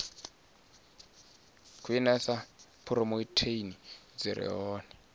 khwinisa phurotheini dzi re hone